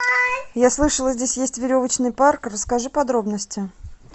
я слышала здесь есть веревочный парк расскажи подробности